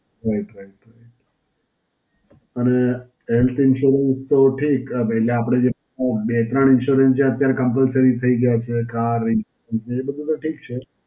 right right right. પણ એમ કઈ કરવું તો ઠીક અ એટલે આપડે જે અ બે ત્રણ insurance જે Compulsory થઈ ગયા છે. કાર ઈન, એ બધુ તો ઠીક છે.